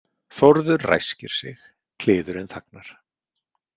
Þórður ræskir sig, kliðurinn þagnar.